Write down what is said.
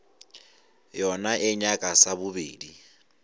yona e nyaka sa bobedi